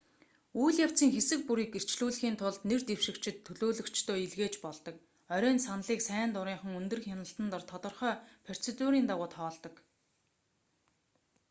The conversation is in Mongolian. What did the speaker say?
үйл явцын хэсэг бүрийг гэрчлүүлэхийн тулд нэр дэвшигчид төлөөлөгчдөө илгээж болдог орой нь саналыг сайн дурынхан өндөр хяналтан дор тодорхой процедурын дагуу тоолдог